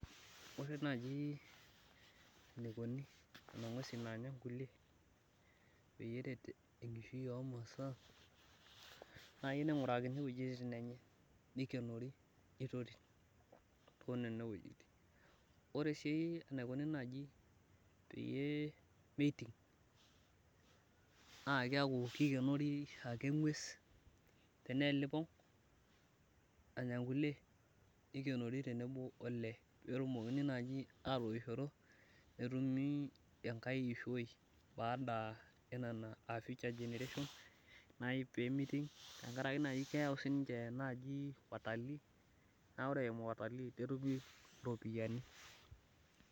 ore naaji enikoni nena ng'uesin naanya inkuilie pee eret enkishui oo imasaa, nayieu ning'urakini iwejitin enye nikinori nitoti too nenawejitin, ore sii enikoni naaji peyie meiting naa keeku kingenori elipong tenebo wolee pee etum atoishoto netumi enkai ishoi, aa future generations naipee miting tengaraki keyau watalii netumi iropiyiani.